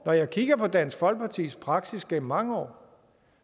når jeg kigger på dansk folkepartis praksis gennem mange år